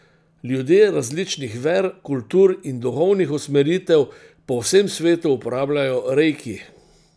Ljudje različnih ver, kultur in duhovnih usmeritev po vsem svetu uporabljajo reiki.